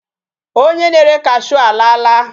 Onye na-ere cashew alaala.